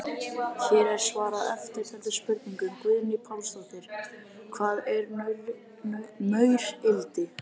Hér er svarað eftirtöldum spurningum: Guðný Pálsdóttir: Hvað er maurildi?